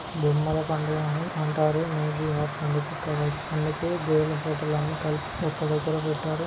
బొమ్మలు అని అంటారు. బొమ్మలు అన్ని కలిపి ఒక దగ్గర పెట్టారు.